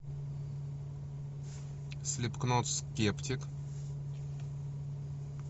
слипкнот скептик